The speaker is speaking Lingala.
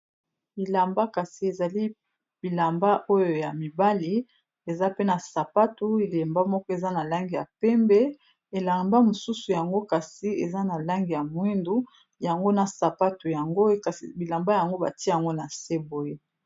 Bilamba kasi ezali bilamba oyo ya mibali eza pe na sapatu elamba moko eza na langi ya pembe elamba mosusu yango kasi eza na langi ya moyindu yango na sapatu yango kasi bilamba yango batiya yango na se boye.